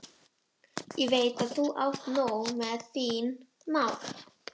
Ég veit að þú átt nóg með þín mál.